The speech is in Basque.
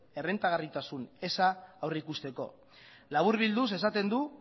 errentagarritasun eza aurreikusteko laburbilduz esaten du